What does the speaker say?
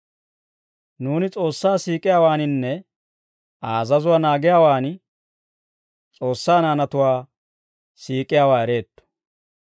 Nuuni S'oossaa siik'iyaawaaninne Aa azazuwaa naagiyaawaan, S'oossaa naanatuwaa siik'iyaawaa ereetto.